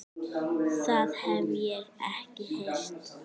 Það hef ég ekki heyrt.